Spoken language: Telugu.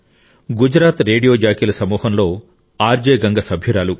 గుజరాత్ రేడియో జాకీల సమూహంలో ఆర్జే గంగ సభ్యురాలు